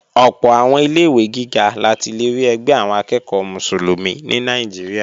Ọ̀pọ̀ àwọn ilé-ìwé gíga la ti lè rí ẹgbẹ́ àwọn akẹ́ẹ̀kọ́ Mùsùlùmí ní Nàìjíríà